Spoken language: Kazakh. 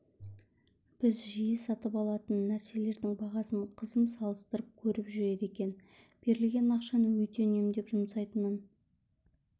біз жиі сатып алатын нәрселердің бағасын қызым салыстырып көріп жүреді екен берілген ақшаны өте үнемдеп жұмсайтынын